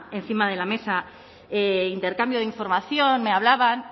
encima de la mesa intercambio de información me hablaban